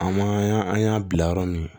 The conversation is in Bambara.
An ma y'an an y'an bila yɔrɔ min